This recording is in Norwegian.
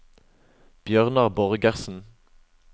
Bjørnar Borgersen